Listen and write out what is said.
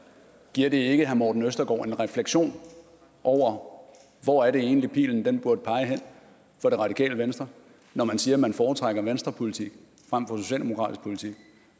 giver det ikke herre morten østergaard en refleksion over hvor er det egentlig pilen burde pege hen for radikale venstre når man siger at man foretrækker venstrepolitik frem for socialdemokratisk politik